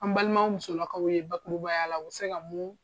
An balima musolakaw ye bakurubaya la o bɛ se ka mun